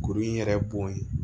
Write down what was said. Kuru in yɛrɛ bɔn ye